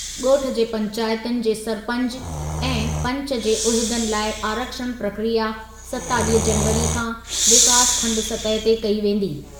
ॻोठ जी पैंचातुनि जे सरपंच ऐं पंच जे उहिदनि लाइ आरक्षण प्रक्रिया सतावीह जनवरी खां विकासखंडु सतहि ते कई वेंदी।।